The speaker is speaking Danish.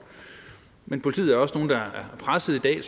men politiet er også presset i dag